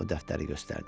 O dəftəri göstərdi.